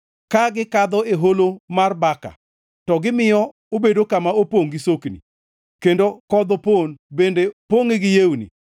Ka gikadho e Holo mar Baka to gimiyo obedo kama opongʼ gi sokni; kendo kodh opon bende pongʼe gi yewni.